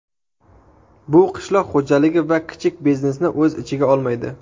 Bu qishloq xo‘jaligi va kichik biznesni o‘z ichiga olmaydi.